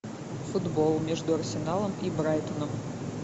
футбол между арсеналом и брайтоном